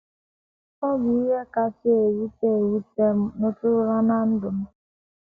Ọ bụ ihe kasị ewute ewute m nụtụrụla ná ndụ m.